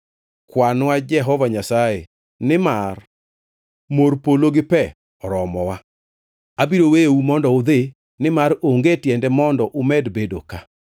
Kwanwa Jehova Nyasaye nimar mor polo gi pe oromowa. Abiro weyou mondo udhi, nimar onge tiende mondo umed bedo ka.”